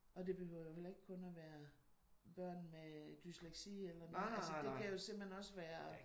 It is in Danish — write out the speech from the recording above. Og det behøver jo heller ikke kun at være børn med dysleksi eller noget altså det kan jo simpelthen også være